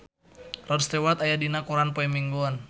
Rod Stewart aya dina koran poe Minggon